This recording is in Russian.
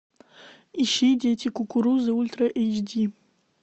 ищи дети кукурузы ультра эйч ди